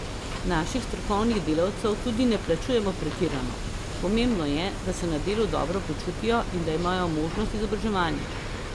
Naših strokovnih delavcev tudi ne plačujemo pretirano, pomembno je, da se na delu dobro počutijo in da imajo možnost izobraževanja.